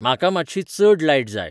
म्हाका मात्शी चड लायट जाय